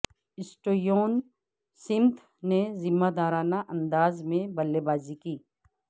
Steven Smith نے ذمہ دارانہ انداز میں بلے بازی کی